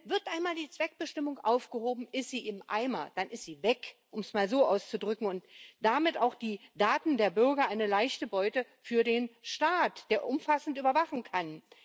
Wird einmal die Zweckbestimmung aufgehoben, ist sie im Eimer, dann ist sie weg, um es mal so auszudrücken und damit auch die Daten der Bürger eine leichte Beute für den Staat, der umfassend überwachen kann.